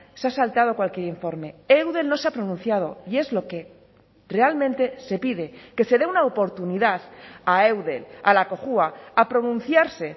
se ha saltado cualquier informe eudel no se ha pronunciado y es lo que realmente se pide que se dé una oportunidad a eudel a la cojua a pronunciarse